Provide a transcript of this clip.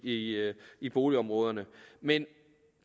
i i boligområderne men